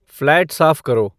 flat साफ करो